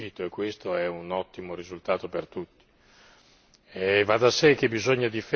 Secondo me la relazione che stiamo discutendo c'è riuscita e questo è un ottimo risultato per tutti.